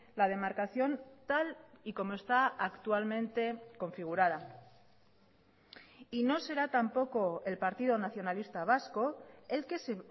la demarcación tal y como está actualmente configurada y no será tampoco el partido nacionalista vasco el que se